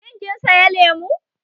Shin kin saya lemu?